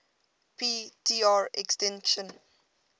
p tr extinction